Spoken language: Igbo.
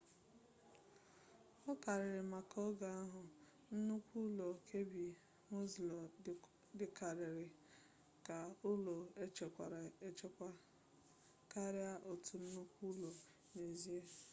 aụkarịrị maka oge ahụ nnukwu ụlọ kirby muxloe dịkarịrị ka ụlọ echekwara echekwa karịa otu nnukwu ụlọ n'ezie